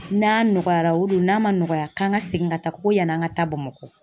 N'a nɔgɔyara , o don ,n'a ma nɔgɔya k'an ka segin ka taa, ko yan'an ka taa Bamakɔ